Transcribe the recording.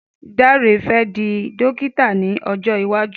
Dare fẹ di dókítà ni ojo iwaju.